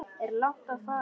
Er langt að fara?